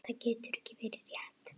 Það getur ekki verið rétt.